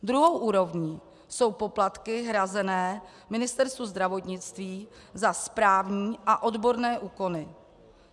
Druhou úrovní jsou poplatky hrazené Ministerstvu zdravotnictví za správní a odborné úkony.